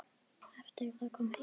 Eftir að heim kom stóðu